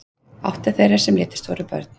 Átta þeirra sem létust voru börn